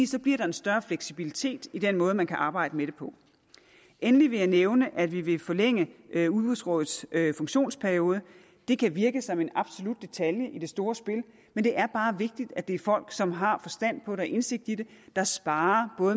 så bliver der en større fleksibilitet i den måde man kan arbejde med det på endelig vil jeg nævne at vi vil forlænge udbudsrådets funktionsperiode det kan virke som en absolut detalje i det store spil men det er bare vigtigt at det er folk som har forstand på det og indsigt i det der sparrer